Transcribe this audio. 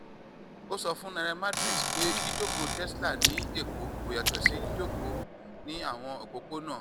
ó sọ fún nairametrics pé jíjókòó tesla ní èkó kò yàtọ̀ sí jíjókòó ní àwọn òpópónà